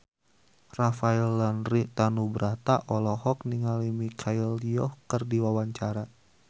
Rafael Landry Tanubrata olohok ningali Michelle Yeoh keur diwawancara